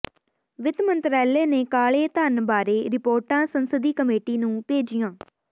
ਵਿਤ ਮੰਤਰਾਲੇ ਨੇ ਕਾਲੇ ਧਨ ਬਾਰੇ ਰਿਪੋਰਟਾਂ ਸੰਸਦੀ ਕਮੇਟੀ ਨੂੰ ਭੇਜੀਆਂ